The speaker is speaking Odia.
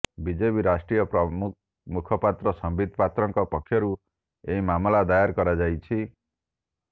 ବିଜେପି ରାଷ୍ଟ୍ରୀୟ ମୁଖପାତ୍ର ସମ୍ବିତ ପାତ୍ରଙ୍କ ପକ୍ଷରୁ ଏହି ମାମଲା ଦାୟର କରାଯାଇଛି